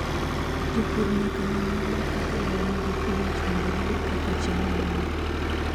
Jopur nyaka non maber kaka lowo nigi pH mondo giyud kaka cham dongo.